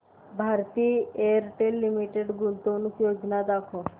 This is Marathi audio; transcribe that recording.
भारती एअरटेल लिमिटेड गुंतवणूक योजना दाखव